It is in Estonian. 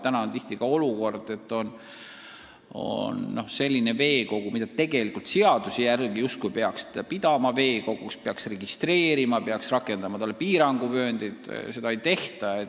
Praegu tuleb ette olukordi, et on selline objekt, mida seaduse järgi justkui peaks pidama veekoguks ja peaks kehtestama piiranguvööndid, aga seda ei tehta.